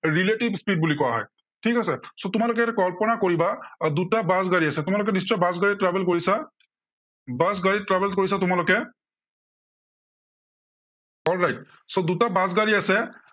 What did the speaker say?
relatives speed বুলি কোৱা হয়। ঠিক আছে। so তোমালোকে এতিয়া কল্পনা কৰিবা দুটা বাছ গাড়ী আছে, তোমালোকে নিশ্চয় বাছ গাড়ীত travel কৰিছা। বাছ গাড়ীত travel কৰিছা তোমালোকে। right, so দুটা বাছ গাড়ী আছে।